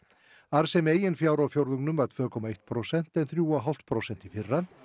arðsemi eigin fjár á fjórðungnum var tvö komma eitt prósent en þrjú og hálft prósent í fyrra